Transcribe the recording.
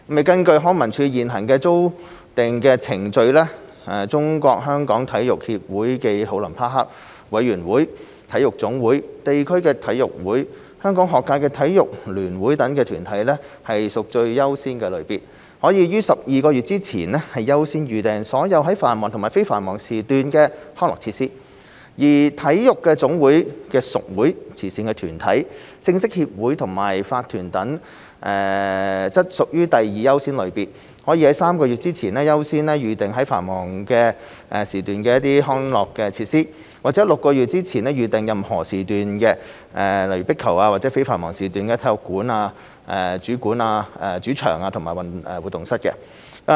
根據康文署現行的預訂程序，中國香港體育協會暨奧林匹克委員會、體育總會、地區體育會、香港學界體育聯會等團體屬最優先類別，可於12個月前優先預訂所有在繁忙及非繁忙時段的康樂設施；而體育總會的屬會、慈善團體、正式協會和法團等則屬第二優先類別，可於3個月前優先預訂在繁忙時段的康樂設施，或於6個月前預訂任何時段的壁球場及在非繁忙時段的體育館主場和活動室。